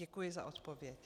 Děkuji za odpověď.